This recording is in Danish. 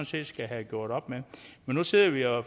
set skal have gjort op med men nu sidder vi jo